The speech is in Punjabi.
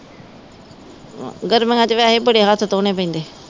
ਗਰਮੀਆਂ ਚ ਵੈਸੇ ਬੜੇ ਹੱਥ ਧੋਣੇ ਪੈਂਦੇ।